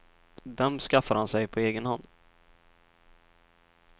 Dem skaffar han sig på egen hand.